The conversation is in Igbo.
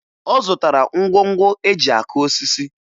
Ọ zụtara ngwongwo e ji akụ osisi